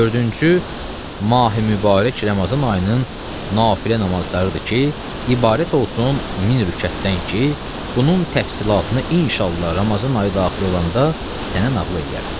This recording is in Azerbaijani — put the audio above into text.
Dördüncü: Mahi mübarək Ramazan ayının nafilə namazlarıdır ki, ibarət olsun min rükətdən ki, bunun təfsilatını inşallah Ramazan ayı daxil olanda sənə nəql eləyərəm.